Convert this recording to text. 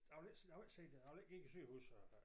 Jeg vil ikke jeg vil ikke sige det jeg vil ikke give æ sygehus øh